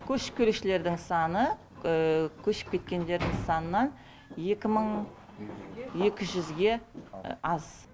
көшіп келушілердің саны көшіп кеткендердің санынан екі мың екі жүзге аз